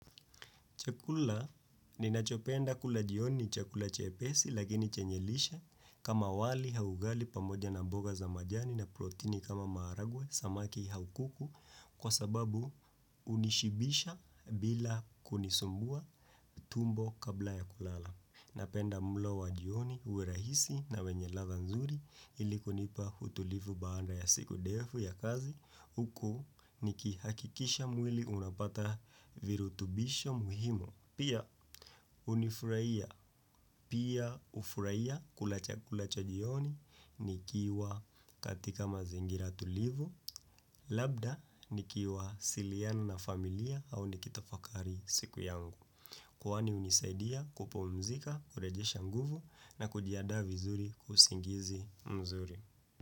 Chakula ninachopenda kula jioni chakula chepesi lakini chanye lishe kama wali au ugali pamoja na mboga za majani na protini kama maharagwe samaki au kuku kwa sababu hunishibisha bila kunisumbua tumbo kabla ya kulala. Napenda mlo wa jioni uwe rahisi na wenye ladha nzuri ilikunipa utulivu baada ya siku defu ya kazi huku nikihakikisha mwili unapata virutubisho muhimu. Pia unifurahia, pia hufurahia kula chakula cha jioni nikiwa katika mazingira tulivu, labda nikiwasiliana na familia au nikitafakari siku yangu. Kuwani hunisaidia kupumzika, kurejesha nguvu na kujiandaa vizuri kwa usingizi mzuri.